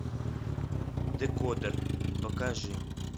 декодер покажи